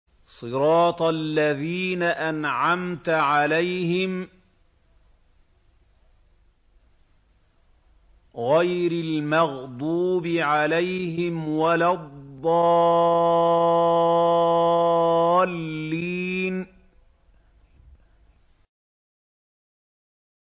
صِرَاطَ الَّذِينَ أَنْعَمْتَ عَلَيْهِمْ غَيْرِ الْمَغْضُوبِ عَلَيْهِمْ وَلَا الضَّالِّينَ